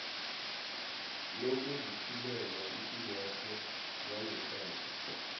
lokuziphilela ipilwakho yangeqadi